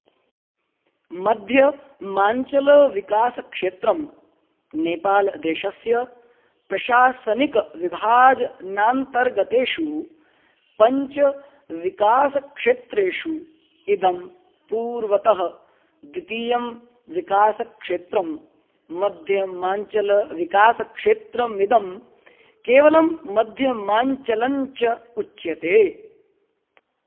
मध्यमाञ्चलविकासक्षेत्रम् नेपालदेशस्य प्रशासनिकविभाजनान्तर्गतेषु पञ्चविकासक्षेत्रेषु इदं पूर्वतः द्वितीयं विकासक्षेत्रम् मध्यमाञ्चलविकासक्षेत्रमिदं केवलं मध्यमाञ्चलञ्च उच्यते